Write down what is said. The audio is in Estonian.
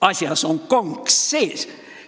Asjas on konks sees!